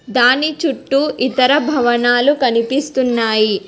దాని చుట్టూ ఇతర భవనాలు కనిపిస్తున్నాయి.